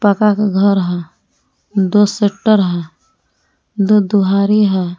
पक्का का घर है दो शेटर है दो दुहारि है।